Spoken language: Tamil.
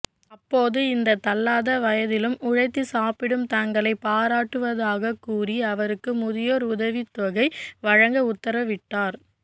அப்போது இந்த தள்ளாத வயதிலும் உழைத்து சாப்பிடும் தங்களை பாராட்டுவதாக கூறி அவருக்கு முதியோர் உதவித்தொகை வழங்க உத்தரவிட்டார்